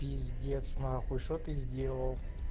пиздец нахуй что ты сделал